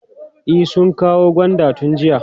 E, sun kawo gwandan tun jiya.